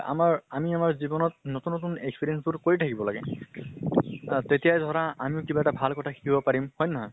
আমাৰ আমি আমাৰ জীৱনত নতুন নতুন experience বোৰ কৰি থাকিব লাগে। তেতিয়াহে ধৰা আমিওঁ কিবা এটা ভাল কথা শিকিব পাৰিম, হয় নে নহয়